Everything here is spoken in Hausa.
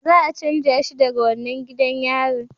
Za a canja shi daga wannan gidan yarin